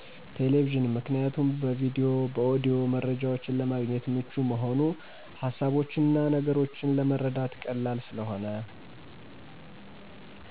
ቴሌቪዥን። ምክኒያቱም በቪዲዮ በኦዲዮ መረጃዎች ለማግኘት ምቹ መሆኑ። ሀሳቦችና ነገሮችን ለመረዳት ቀላል ስለሆነ።